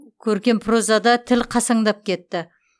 көркем прозада тіл қасаңдап кетті